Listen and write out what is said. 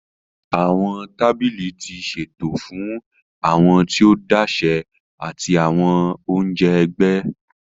Awọn tábìlì ti ṣeto fún awọn tí o dashe ati awọn onjẹ ẹgbẹ.